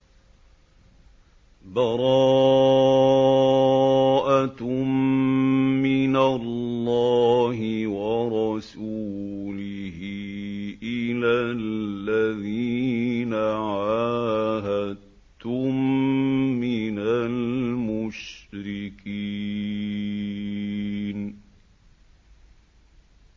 بَرَاءَةٌ مِّنَ اللَّهِ وَرَسُولِهِ إِلَى الَّذِينَ عَاهَدتُّم مِّنَ الْمُشْرِكِينَ